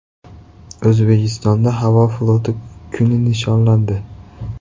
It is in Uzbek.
O‘zbekistonda Havo floti kuni nishonlandi .